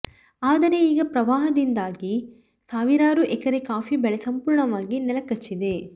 ಆದರೆ ಈಗ ಪ್ರವಾಹದಿಂದಾಗಿ ಸಾವಿರಾರು ಎಕರೆ ಕಾಫಿ ಬೆಳೆ ಸಂಪೂರ್ಣವಾಗಿ ನೆಲಕಚ್ಚಿದೆ